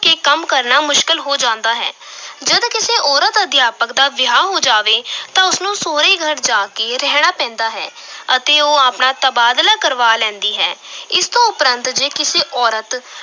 ਕੇ ਕੰਮ ਕਰਨਾ ਮੁਸ਼ਕਿਲ ਹੋ ਜਾਂਦਾ ਹੈ ਜਦ ਕਿਸੇ ਔਰਤ ਅਧਿਆਪਕ ਦਾ ਵਿਆਹ ਹੋ ਜਾਵੇ ਤਾਂ ਉਸ ਨੂੰ ਸਹੁਰੇ ਘਰ ਜਾ ਕੇ ਰਹਿਣਾ ਪੈਂਦਾ ਹੈ ਅਤੇ ਉਹ ਆਪਣਾ ਤਬਾਦਲਾ ਕਰਵਾ ਲੈਂਦੀ ਹੈ ਇਸ ਤੋਂ ਉਪਰੰਤ ਜੇ ਕਿਸੇ ਔਰਤ